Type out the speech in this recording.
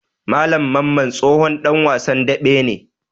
Malam Mamman tsohon ɗan wasan daɓe ne.